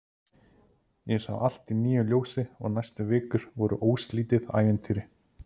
Ég sá allt í nýju ljósi og næstu vikur voru óslitið ævintýri.